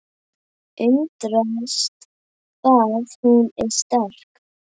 Undrast hvað hún er sterk.